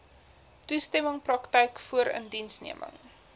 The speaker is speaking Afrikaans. toestemming praktyk voorindiensneming